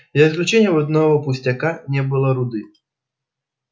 за исключением одного пустяка не было руды